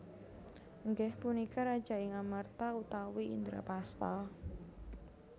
Inggih punika Raja ing Amarta utawi Indrapasta